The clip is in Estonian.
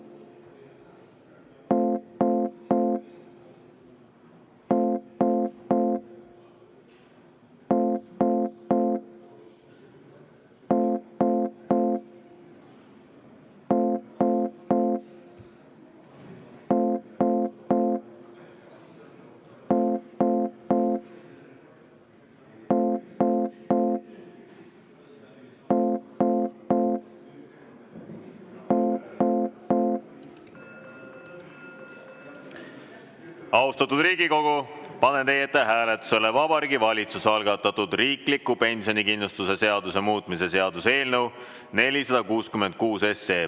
Austatud Riigikogu, panen hääletusele Vabariigi Valitsuse algatatud riikliku pensionikindlustuse seaduse muutmise seaduse eelnõu 466.